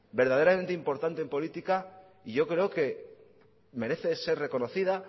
verdaderamente importante en política yo creo que merece ser reconocida